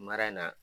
Mara in na